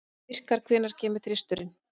Vikar, hvenær kemur þristurinn?